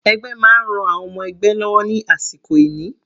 Ẹgbẹ́ máa ń ran àwọn ọmọ ẹgbẹ́ lọ́wọ́ ní àsìkò ìní.